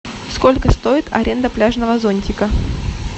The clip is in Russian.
сколько стоит аренда пляжного зонтика